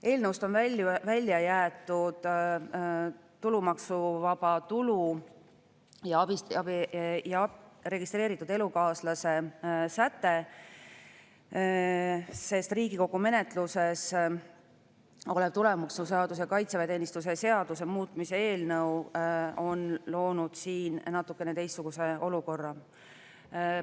Eelnõust on välja jäetud tulumaksuvaba tulu ja registreeritud elukaaslase säte, sest Riigikogu menetluses olev tulumaksuseaduse ja kaitseväeteenistuse seaduse muutmise eelnõu on loonud siin natukene teistsuguse olukorra.